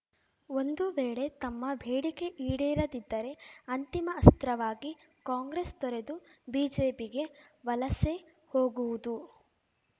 ಒಂದು ವೇಳೆ ತಮ್ಮ ಬೇಡಿಕೆ ಈಡೇರದಿದ್ದರೆ ಅಂತಿಮ ಅಸ್ತ್ರವಾಗಿ ಕಾಂಗ್ರೆಸ್‌ ತೊರೆದು ಬಿಜೆಪಿಗೆ ವಲಸೆ ಹೋಗುವುದು